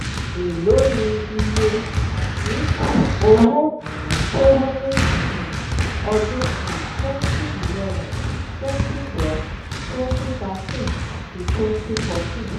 èló ni iye àdínkù owó-ìnà tó wáyé ní um ọdún um twenty eleven twenty twelve twenty thirteen àti twenty fourteen?